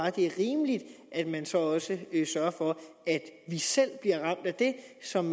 at det er rimeligt at man så også sørger for at vi selv bliver ramt af det som